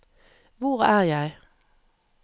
hvor er jeg